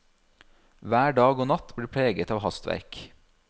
Hver dag og natt blir preget av hastverk.